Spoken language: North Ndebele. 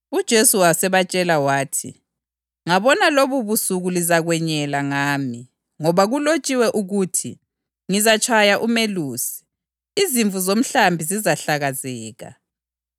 Bathi sebehlabele ihubo baphuma baya eNtabeni yama-Oliva. UJesu Ubonisa Ngokuphika KukaPhethro